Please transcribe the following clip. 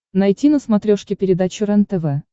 найти на смотрешке передачу рентв